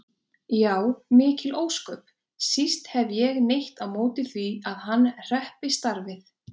Já, mikil ósköp, síst hef ég neitt á móti því að hann hreppi starfið.